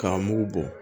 K'a mugu bɔ